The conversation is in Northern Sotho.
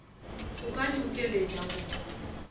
o ka di kgokeletša go